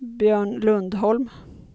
Björn Lundholm